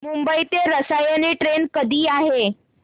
मुंबई ते रसायनी ट्रेन कधी आहे